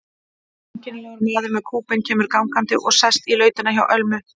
Einkennilegur maður með kúbein kemur gangandi og sest í lautina hjá Ölmu.